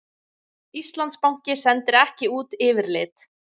Íslandsbanki sendir ekki út yfirlit